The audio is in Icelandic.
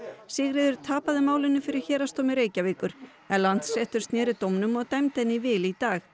Sigríður tapaði málinu fyrir Héraðsdómi Reykjavíkur en Landsréttur sneri dómnum og dæmdi henni í vil í dag